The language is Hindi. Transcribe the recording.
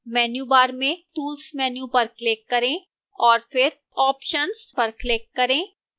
menu bar में tools menu पर click करें और फिर options पर click करें